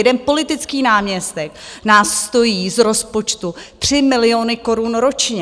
Jeden politický náměstek nás stojí z rozpočtu tři miliony korun ročně.